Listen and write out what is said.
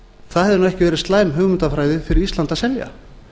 það hefði ekki verið slæm hugmyndafræði fyrir ísland að selja